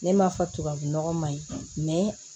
Ne m'a fɔ tubabu nɔgɔ ma ɲi